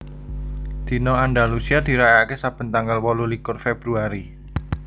Dina Andalusia dirayakaké saben tanggal wolulikur Februari